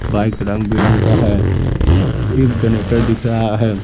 Bike रंग-बिरंग का है एक जनरेटर दिख रहा है‌।